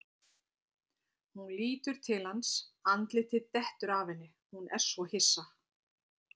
Hún lítur til hans, andlitið dettur af henni, hún er svo hissa.